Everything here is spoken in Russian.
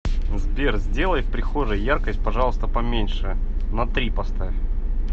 сбер сделай в прихожей яркость пожалуйста поменьше на три поставь